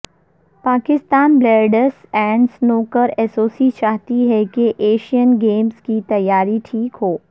Pakistan billiards and snooker association چاہتی ہے کہ ایشین گیمز کی تیاری ٹھیک ہو